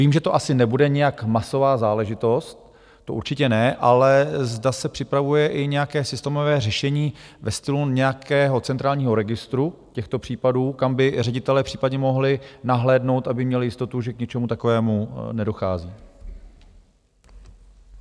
Vím, že to asi nebude nějak masová záležitost, to určitě ne, ale zda se připravuje i nějaké systémové řešení ve stylu nějakého centrálního registru těchto případů, kam by ředitelé případně mohli nahlédnout, aby měli jistotu, že k ničemu takovému nedochází?